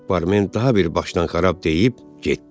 Barmin daha bir başdanxarab deyib getdi.